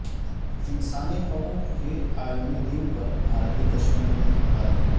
انسانی حقوق کے عالمی دن پر بھارتی کشمیر میں ہڑتال